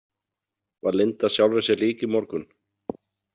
Var Linda sjálfri sér lík í morgun?